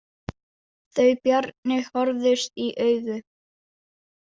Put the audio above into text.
Þau Bjarni horfðust í augu.